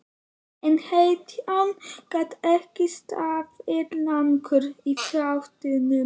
En hetjan gat ekki staðið lengur í fæturna.